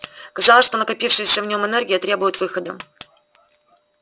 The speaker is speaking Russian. казалось что накопившаяся в нем энергия требует выхода